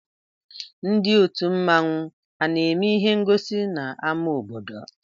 Ndị òtù mmanwu ana-eme ịhé ngosi n'áma obodo?